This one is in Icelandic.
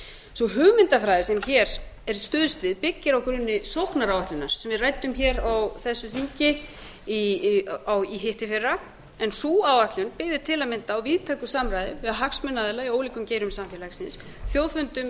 sú hugmyndafræði sem hér er stuðst við byggir á grunni sóknaráætlunar sem við ræddum á þingi í hittiðfyrra en sú áætlun byggði til að mynda á víðtæku samræði við hagsmunaaðila í ólíkum geirum samfélagsins þjóðfundum og landfundum